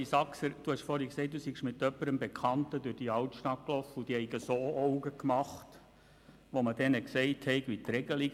Hans-Rudolf Saxer, Sie haben gesagt, Sie seien mit einer Bekannten durch die Altstadt gelaufen und diese habe grosse Augen gemacht, als Sie ihr erklärt haben, wie das bei uns geregelt ist.